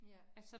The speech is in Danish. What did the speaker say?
Ja